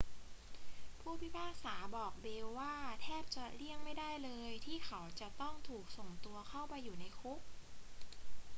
ผู้พิพากษาบอกเบลกว่า แทบจะเลี่ยงไม่ได้เลย ที่เขาจะต้องถูกส่งตัวเข้าไปอยู่ในคุก